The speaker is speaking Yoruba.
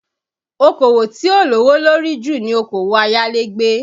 Okòwò tí ó lówó lórí jù ni Okòwò ayálégbé